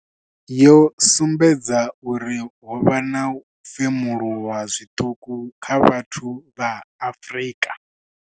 Yo sumbedza uri ho vha na u femuluwa zwiṱuku kha vhathu vha Afrika.